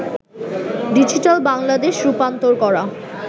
digital Bangladesh' রূপান্তর করা